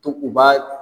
To u b'a